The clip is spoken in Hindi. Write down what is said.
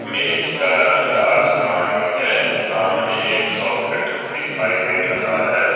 मेज का रंग आसमानी है सामने एक सॉकेट दिखाई दे रहा है।